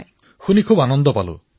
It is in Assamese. প্ৰধানমন্ত্ৰীঃ ৱাহ শুনি সন্তোষ পালো